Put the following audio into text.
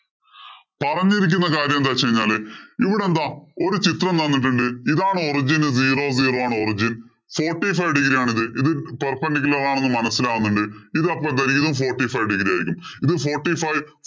പറഞ്ഞിരിക്കുന്ന കാര്യം എന്ന് വച്ച് കഴിഞ്ഞാല് ഇവിടെ എന്താ ഒരു ചിത്രം തന്നിട്ടുണ്ട്. ഇതാണ് origin. Zero zero ആണ് origin. Forty five degree ആണ്. ഇത് perpendicular ആണെന്ന് മനസിലാവുന്നുണ്ട്. ഇത് അപ്പൊ എന്താ ഇതും forty five degree ആയിരിക്കും.